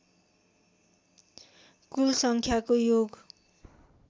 कुल सङ्ख्याको योग